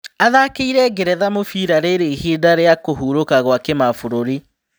Athakĩire Ngeretha mũbira rĩrĩ-ihĩndĩ rĩa kũhurũka gũa-kĩmabũrũri.